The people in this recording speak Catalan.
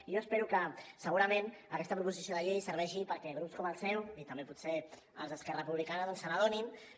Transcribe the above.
i jo espero que segurament aquesta proposició de llei serveixi perquè grups com el seu i també potser els d’esquerra republicana doncs se n’adonin que